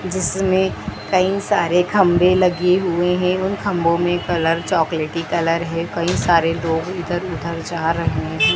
जिसमें कई सारे खंभे लगे हुए हैं उन खम्बो में कलर चॉकलेटी कलर है कई सारे लोग इधर-उधर जा रहे हैं।